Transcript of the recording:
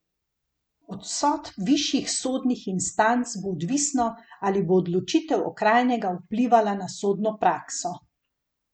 Od sodb višjih sodnih instanc bo odvisno, ali bo odločitev okrajnega vplivala na sodno prakso.